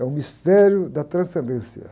É o mistério da transcendência.